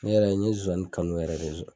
Ne yɛrɛ n ye zozani kanu yɛrɛ de zon